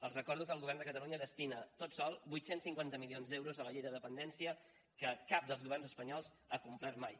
els recordo que el govern de catalunya destina tot sol vuit cents i cinquanta milions d’euros a la llei de dependència que cap dels governs espanyols ha complert mai